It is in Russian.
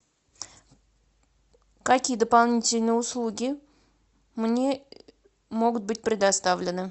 какие дополнительные услуги мне могут быть предоставлены